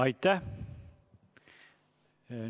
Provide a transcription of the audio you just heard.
Aitäh!